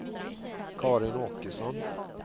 Karin Åkesson